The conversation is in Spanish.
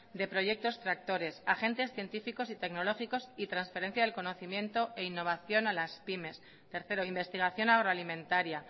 de proyectos tractores agentes científicos y tecnológicos y transferencia del conocimiento e innovación a las pymes tercero investigación agroalimentaria